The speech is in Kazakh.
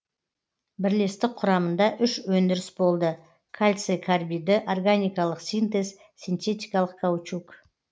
бірлестік құрамыңда үш өңдіріс болды кальций карбиді органикалық синтез синтетикалық каучук